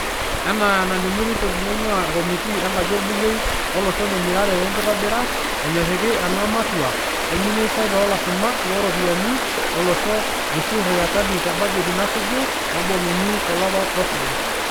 Enaa enelimu ripoti naingua komitii enkaji oolbungei olosho e mirare wenkitobira, enyoriki ena matua olministai loolashumak looropiyiani olosho Ukur Yatani te bajeti nasuju, naboluni tolapa losuju.